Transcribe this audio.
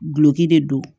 Gulɔki de don